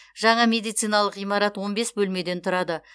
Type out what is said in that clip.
жаңа медициналық ғимарат он бес бөлмеден тұрады